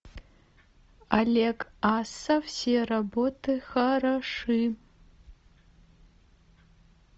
олег асса все работы хороши